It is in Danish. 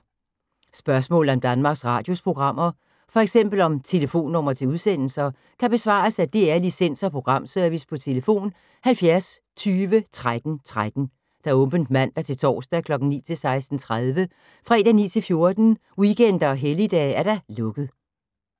Spørgsmål om Danmarks Radios programmer, f.eks. om telefonnumre til udsendelser, kan besvares af DR Licens- og Programservice: tlf. 70 20 13 13, åbent mandag-torsdag 9.00-16.30, fredag 9.00-14.00, weekender og helligdage: lukket.